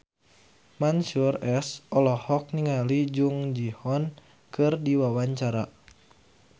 Mansyur S olohok ningali Jung Ji Hoon keur diwawancara